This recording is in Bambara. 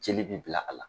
Jeli bɛ bila a la